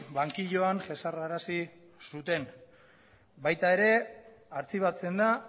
bankilloan jesarrarazi zuten baita ere artxibatzen da